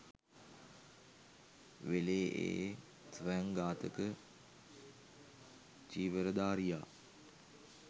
වෙලේ ඒ ස්වයං ඝාතක චීවරධාරියා